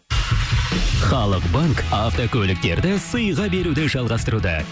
халық банк автокөліктерді сыйға беруді жалғастыруда